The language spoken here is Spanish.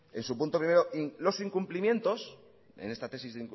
en su punto primero los incumplimientos en esta tesis